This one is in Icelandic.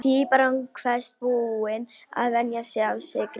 Píparinn kveðst búinn að venja sig af sykri.